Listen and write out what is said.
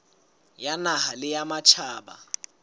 ya naha le ya matjhaba